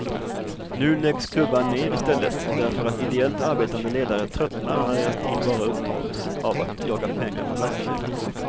Nu läggs klubbar ner i stället därför att ideellt arbetande ledare tröttnar när deras tid bara upptas av att jaga pengar för verksamheten.